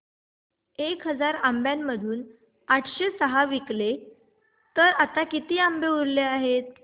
एक हजार आंब्यांमधून आठशे सहा विकले गेले तर आता किती आंबे उरले आहेत